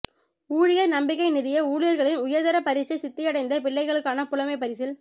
ஊழியர் நம்பிக்கை நிதிய ஊழியர்களின் உயர்தர பரீட்சை சித்தியடைந்த பிள்ளைகளுக்கான புலைமைப்பரிசில்